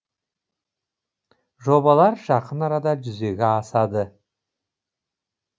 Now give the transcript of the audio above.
жобалар жақын арада жүзеге асады